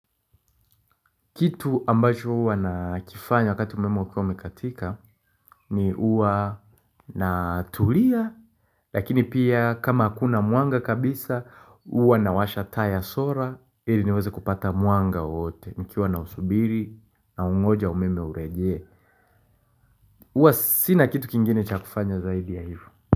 Kitu ambacho huwa nakifanya wakati umeme ukiwa umekatika ni huwa natulia Lakini pia kama hakuna mwanga kabisa huwa nawasha taa ya sola ili niweze kupata mwanga wowote nikiwa nausubiri naungoja umeme urejee Huwa sina kitu kingine cha kufanya zaidi ya hivo.